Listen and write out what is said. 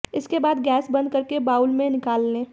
इसके बाद गैस बंद करके बाउल में निकाल लें